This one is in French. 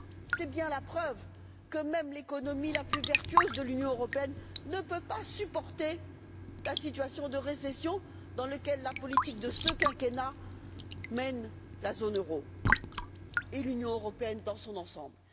C'est bien la preuve que même l'économie la plus vertueuse de l'Union européenne ne peut pas supporter la situation de récession dans laquelle la politique de ce quinquennat mène la zone euro et l'Union européenne dans son ensemble.